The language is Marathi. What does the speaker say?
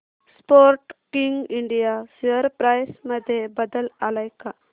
स्पोर्टकिंग इंडिया शेअर प्राइस मध्ये बदल आलाय का